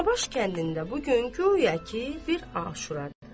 Danabaş kəndində bu gün guya ki bir aşura var.